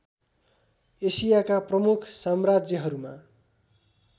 एसियाका प्रमुख साम्राज्यहरूमा